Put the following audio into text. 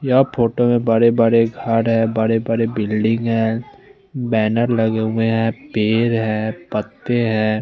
या फोटो में बड़े बड़े घर है बड़े बड़े बिल्डिंग है बैनर लगे हुए है पेड़ है पत्ते है।